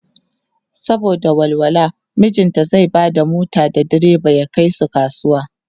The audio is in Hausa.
saboda walwala mijinta zai Bada mota da diriba ya Kai su kasuwa.